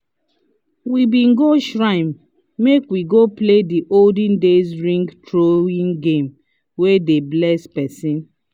we been go shrine make we go play the olden days ring throwing game wey dey bless person